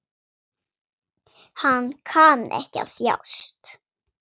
Hann kann ekki að þjást.